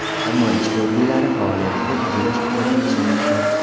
Ammo ichki organlari faoliyatida buzilish kuzatilishi mumkin.